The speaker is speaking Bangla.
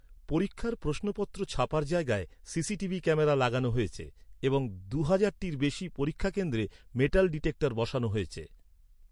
পরীক্ষার প্রশ্নপত্র ছাপার জায়গায় সিসিটিভি ক্যামেরা লাগানো হয়েছে এবং দু’হাজারটির বেশি পরীক্ষাকেন্দ্রে মেটাল ডিটেক্টর বসানো হয়েছে।